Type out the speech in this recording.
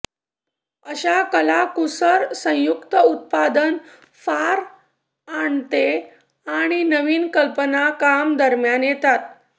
अशा कलाकुसर संयुक्त उत्पादन फार आणते आणि नवीन कल्पना काम दरम्यान येतात